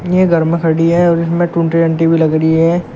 यह घर में खड़ी और इसमें रही है।